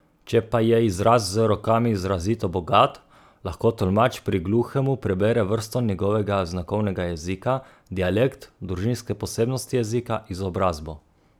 Če pa je izraz z rokami izrazito bogat, lahko tolmač pri gluhemu prebere vrsto njegovega znakovnega jezika, dialekt, družinske posebnosti jezika, izobrazbo.